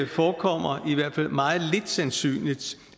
forekommer i hvert fald meget lidt sandsynligt